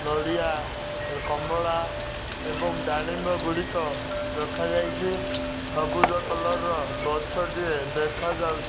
ନଡ଼ିଆ ଏ କମଳା ଏବଂ ଡାଳିମ୍ବ ଗୁଡ଼ିକ ରଖାଯାଇଛି ସବୁଜ କଲର୍ ର ଗଛଟିଏ ଦେଖାଯାଉ --